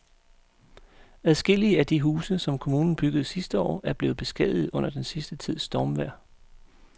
Adskillige af de huse, som kommunen byggede sidste år, er blevet beskadiget under den sidste tids stormvejr.